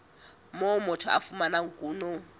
moo motho a fumanang kuno